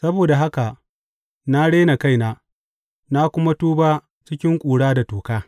Saboda haka na rena kaina na kuma tuba cikin ƙura da toka.